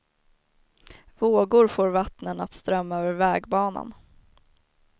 Vågor får vattnen att strömma över vägbanan.